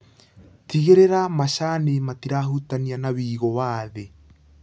Tigĩrĩra macani matirahutania na wĩigũ wa thĩ.